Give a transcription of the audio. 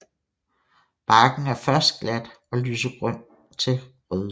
Barken er først glat og lysegrøn til rødlig